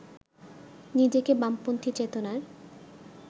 নিজেকে বামপন্থী চেতনার